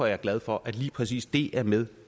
jeg glad for at lige præcis det er med